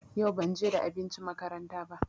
Yau banje da abinci makaranta ba.